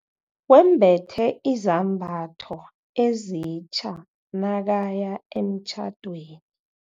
Wembethe izambatho ezitja nakaya emtjhadweni.